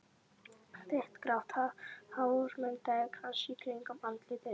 Þykkt grátt hár myndaði krans í kringum andlitið.